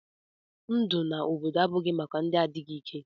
Ndụ n'obodo abụghị maka ndị na-adịghị ike.